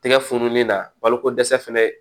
Tɛgɛ fununeni na baloko dɛsɛ fana